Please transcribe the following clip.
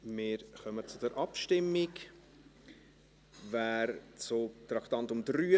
Wir kommen zur Abstimmung zum Traktandum 83: